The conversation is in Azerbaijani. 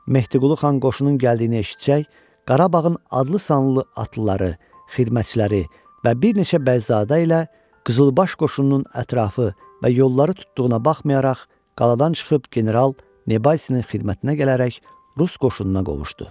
Mehdiqulu xan qoşunun gəldiyini eşitsə, Qarabağın adlı sanlı atlıları, xidmətçiləri və bir neçə bəyzadə ilə Qızılbaş qoşununun ətrafı və yolları tutduğuna baxmayaraq, qaladan çıxıb General Nebalsinin xidmətinə gələrək rus qoşununa qovuşdu.